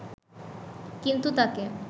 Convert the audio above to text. কিন্তু তাকে